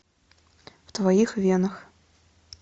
в твоих венах